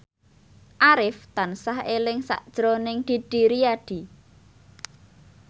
Arif tansah eling sakjroning Didi Riyadi